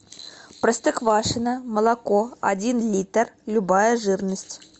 простоквашино молоко один литр любая жирность